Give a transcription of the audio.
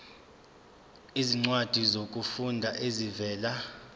izincwadi zokufunda ezivela